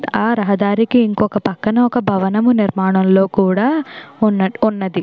ఆ రహదారికి ఇంకొక పక్కన ఒక భవనము నిర్మాణంలో కూడా ఉన్నట్టు ఉన్నది.